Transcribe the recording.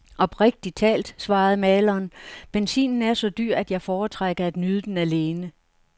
Oprigtigt talt, svarede maleren, benzinen er så dyr, at jeg foretrækker at nyde den alene.